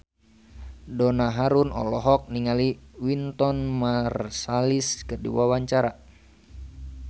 Donna Harun olohok ningali Wynton Marsalis keur diwawancara